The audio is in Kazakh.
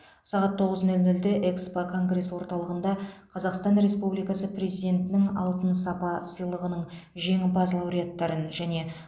сағат тоғыз нөл нөлде экспо конгресс орталығында қазақстан республикасы президентінің алтын сапа сыйлығының жеңімпаз лауреаттарын және